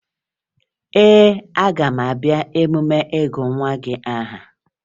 Ee, aga m abịa emume ịgụ nwa gị aha